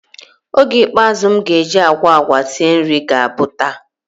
Oge ikpeazu m ga-eji agwa agwa sie nri ga-abụ taa.